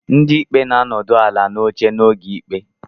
Ndị ikpe na-anọdụ ala n'oche n'oge ikpe